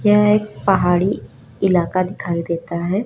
यह एक पहाड़ी इलाका दिखाई देता है।